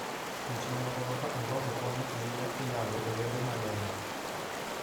Chwech mamoko kaka ongogo konyo ahinya e nyago olembe mang'eny.